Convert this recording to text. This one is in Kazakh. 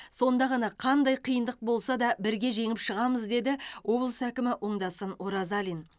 сонда ғана қандай қиындық болса да бірге жеңіп шығамыз деді облыс әкімі оңдасын оразалин